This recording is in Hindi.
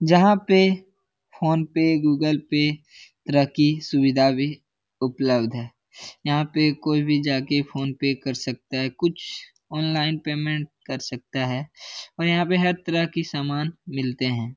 जहाँ पे फोन पे गूगल पे तरह की सुविधा भी उपलब्ध है यहाँ पे कोई भी जाके फ़ोन पे कर सकता है कुछ ओनलाईन पेमेंट कर सकता है और यहाँ पे हर तरह की सामान मिलते है ।